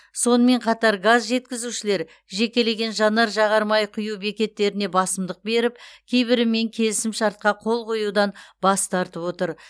сонымен қатар газ жеткізушілер жекелеген жанар жағармай құю бекеттеріне басымдық беріп кейбірімен келісімшартқа қол қоюдан бас тартып отыр